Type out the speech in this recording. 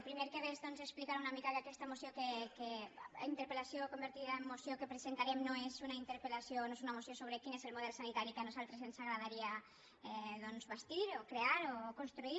primer de res doncs explicar una mica que aquesta interpel·lació convertida en moció que presentarem no és una interpel·lació o no és una moció sobre quin és el model sanitari que a nosaltres ens agradaria bastir o crear o construir